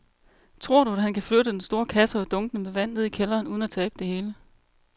Tror du, at han kan flytte den store kasse og dunkene med vand ned i kælderen uden at tabe det hele?